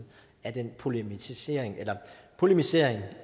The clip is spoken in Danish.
af den polemisering polemisering